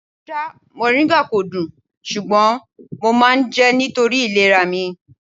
Ṣá mòríńgà kò dùn, ṣùgbọ́n mo máa ń jẹ́ nítorí ìlera mi.